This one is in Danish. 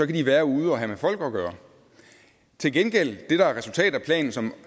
de være ude at have med folk at gøre til gengæld er det der er resultatet af planen som